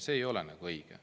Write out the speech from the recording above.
See ei ole õige.